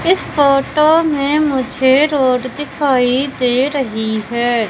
इस फोटो में मुझे रोड दिखाई दे रहीं हैं।